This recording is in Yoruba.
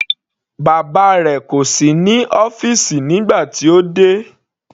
Bàbá rẹ̀ kò sí nínú ọ́fìsì nígbà tí ó dé.